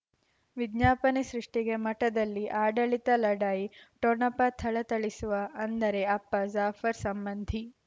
ವಿಜ್ಞಾಪನೆ ಸೃಷ್ಟಿಗೆ ಮಠದಲ್ಲಿ ಆಡಳಿತ ಲಢಾಯಿ ಠೊಣಪ ಥಳಥಳಿಸುವ ಅಂದರೆ ಅಪ್ಪ ಜಾಫರ್ ಸಂಬಂಧಿ